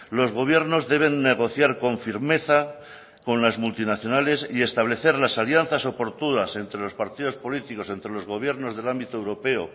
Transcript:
los gobiernos deben negociar con firmeza con las multinacionales y establecer las alianzas oportunas entre los partidos políticos entre los gobiernos del ámbito europeo